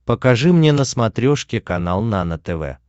покажи мне на смотрешке канал нано тв